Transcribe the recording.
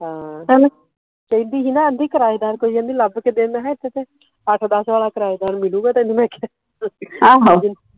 ਹਾਂ ਚੱਲ ਕਹਿੰਦੀ ਹੀ ਨਾ ਆਂਦੀ ਕਿਰਾਏਦਾਰ ਕੋਈ ਆਂਦੀ ਹੀ ਲੱਭ ਕੇ ਦੇ ਮੈ ਕਿਹਾ ਇੱਥੇ ਤੇ ਅੱਠ ਦਸ ਵਾਲਾ ਕਿਰਾਏਦਾਰ ਮਿਲੂਗਾ ਤੈਨੂੰ ਮੈ ਕਿਹਾ